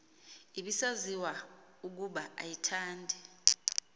ibisaziwa ukuba ayithandi